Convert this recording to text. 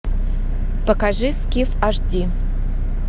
покажи скиф аш ди